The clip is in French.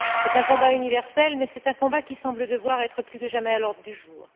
C'est un combat universel mais c'est un combat qui semble devoir être plus que jamais à l'ordre du jour.